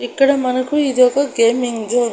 ఇక్కడ మనకు ఇది ఒక గేమింగ్ జోన్ .